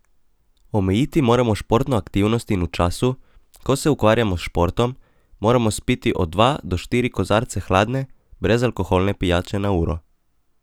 Omejiti moramo športno aktivnost in v času, ko se ukvarjamo s športom, moramo spiti od dva do štiri kozarce hladne, brezalkoholne pijače na uro.